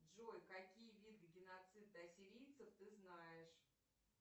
джой какие виды геноцида ассирийцев ты знаешь